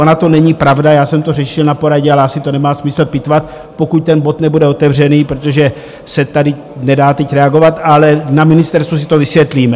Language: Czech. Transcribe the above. Ona to není pravda, já jsem to řešil na poradě, ale asi to nemá smysl pitvat, pokud ten bod nebude otevřený, protože se tady nedá teď reagovat, ale na ministerstvu si to vysvětlíme.